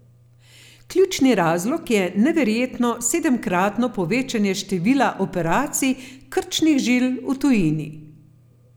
Ključni razlog je neverjetno sedemkratno povečanje števila operacij krčnih žil v tujini.